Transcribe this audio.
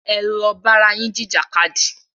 Ẹ lọ bára yín jìjà kadì!